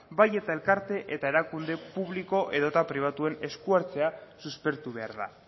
bai eta elkarte eta erakunde publiko edota pribatuen esku hartzea suspertu behar da